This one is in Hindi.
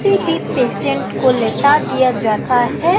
फिर भी पेशेंट को लेटा दिया जाता हैं।